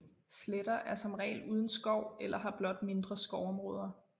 Sletter er som regel uden skov eller har blot mindre skovområder